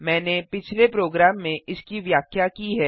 मैंने पिछले प्रोग्राम में इसकी व्याख्या की है